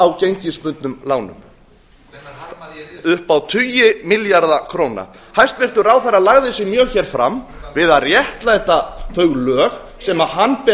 á gengisbundnum lánum upp á tugi milljarða króna hæstvirtur ráðherra lagði sig mjög hér fram við að réttlæta þau lög sem hann ber